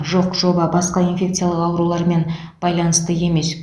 жоқ жоба басқа инфекциялық аурулармен байланысты емес